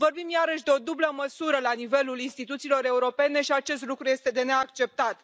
Vorbim iarăși de o dublă măsură la nivelul instituțiilor europene și acest lucru este de neacceptat.